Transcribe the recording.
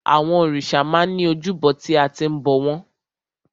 Àwọn òrìṣà máa ń ní ojúbọ tí a ti ń bọ̀ wọ́n.